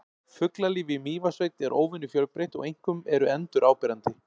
Fuglalífið í Mývatnssveit er óvenju fjölbreytt og einkum eru endur áberandi.